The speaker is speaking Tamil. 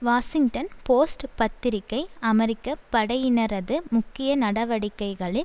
வாஷிங்டன் போஸ்ட் பத்திரிகை அமெரிக்க படையினரது முக்கிய நடவடிக்கைகளில்